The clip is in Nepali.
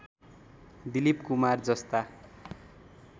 दिलीप कुमार जस्ता